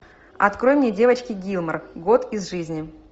открой мне девочки гилмор год из жизни